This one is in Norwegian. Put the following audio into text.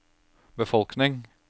befolkning